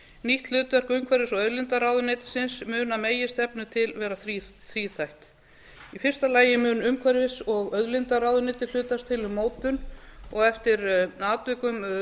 nýtt hlutverk umhverfis og auðlindaráðuneytisins mun að meginstefnu til vera tvíþætt í fyrsta lagi mun umhverfis og auðlindaráðuneytið hlutast til um mótun og eftir atvikum